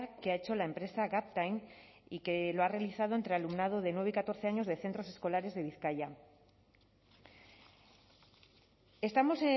que ha hecho la empresa gaptain y que lo ha realizado entre alumnado de nueve y catorce años de centros escolares de bizkaia estamos